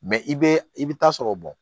i bɛ i bɛ taa sɔrɔ